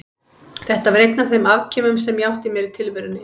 Þetta var einn af þeim afkimum sem ég átti mér í tilverunni.